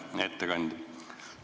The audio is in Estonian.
Hea ettekandja!